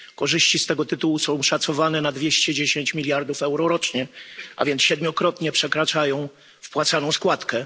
Korzyści z tego tytułu są szacowane na 210 mld euro rocznie, a więc siedmiokrotnie przekraczają wpłacaną składkę.